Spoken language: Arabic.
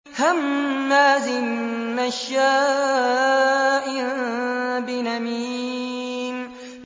هَمَّازٍ مَّشَّاءٍ بِنَمِيمٍ